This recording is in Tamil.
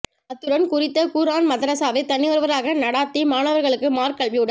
அத்துடன் குறித்த குர் ஆன் மதரஸாவை தனியொருவராக நடாத்தி மாணவர்களுக்கு மார்க்க கல்வியுடன்